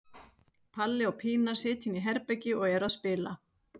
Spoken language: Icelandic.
Palli og Pína sitja inni í herbergi og eru að spila.